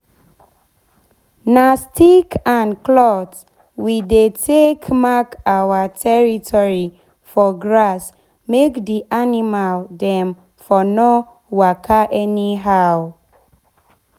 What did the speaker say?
na stick and cloth we dey take mark our territory for grass make d animal dem for nor waka anyhow.